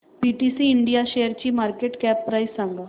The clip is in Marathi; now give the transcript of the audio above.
पीटीसी इंडिया शेअरची मार्केट कॅप प्राइस सांगा